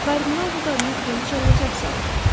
Kardinal bu qadını Kraliçayla səhv saldı.